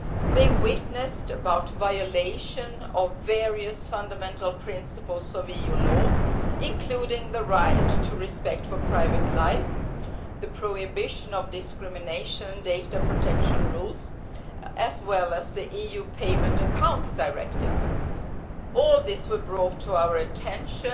They testified to the violation of various fundamental principles of EU law, including the right to respect for private life, the prohibition of discrimination, and data protection rules, as well as the EU Payment Accounts Directive. All this was brought to our attention